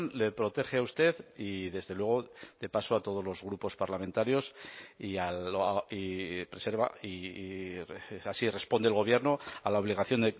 le protege a usted y desde luego de paso a todos los grupos parlamentarios y preserva y así responde el gobierno a la obligación